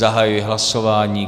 Zahajuji hlasování.